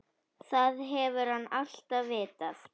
Það hefur hann alltaf vitað.